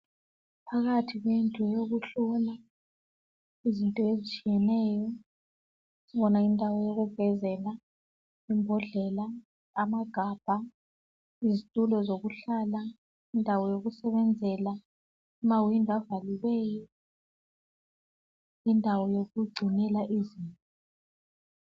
Phakathi kwendlu yokuhlola izinto ezitshiyeneyo kukhona indawo yokugezela, imbondlela, amagabha, izitulo zokuhlala, indawo yokusebenzela, amawindi avaliweyo, indawo yokugcinela izinto.